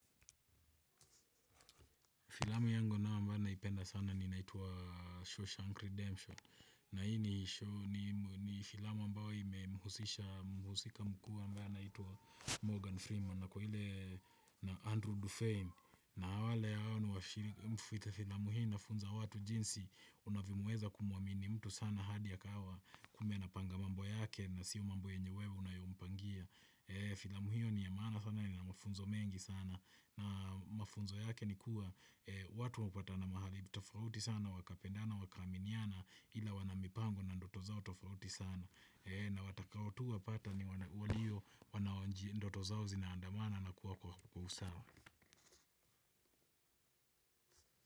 Filamu yangu na ambayo naipenda sana ni inaitwa Shawshank Redemption. Na hii ni filamu ambayo imemhusisha mhusika mkuu ambaye anaitwa Morgan Freeman. Na kwa ile na Andrew Dufeim. Na wale hao ni mfita filamu hii inafunza watu jinsi unavyomuweza kumuamini mtu sana hadi akawa kumbe anapanga mambo yake na sio mambo yenye wewe unayompangia. Filamu hio ni ya maana sana ni inamafunzo mengi sana. Na mafunzo yake ni kuwa watu wapatana mahali tofauti sana na wakapendana wakaaminiana. Ila wanamipango na ndoto zao tofauti sana. Na watakao tu wapata ni walio wanaoji ndoto zao zinaandamana na kuwa kwa usawa.